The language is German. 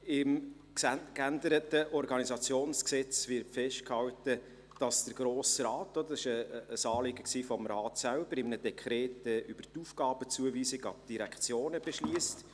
Im geänderten Gesetz über die Organisation des Regierungsrates und der Verwaltung (Organisationsgesetz, OrG) wird festgehalten, dass der Grosse Rat – dies war ein Anliegen des Rates selbst – in einem Dekret die Aufgabenzuweisung an die Direktionen beschliesst.